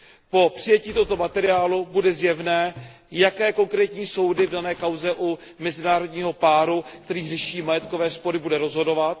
Po přijetí tohoto materiálu bude zjevné, jaké konkrétní soudy v dané kauze u mezinárodního páru, který řeší majetkové spory, budou rozhodovat.